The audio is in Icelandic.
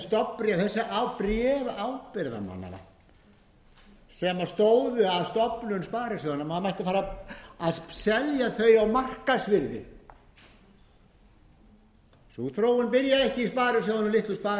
stofnbréf á bréf ábyrgðarmannanna sem stóðu að stofnun sparisjóðanna maður mætti fara að selja þau á markaðsvirði sú þróun byrjaði ekki í litlu sparisjóðunum úti á